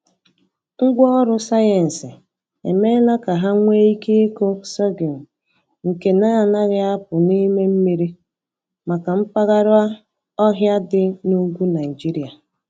Ngwaọrụ sayensị emeela ka ha nwee ike ịkụ sorghum nke na-anaghị apụ n’ime mmiri, maka mpaghara ọhịa dị n’ugwu Naịjirịa.